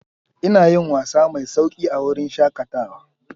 Ina yin wasa mai sauƙi a wurin shakatawa.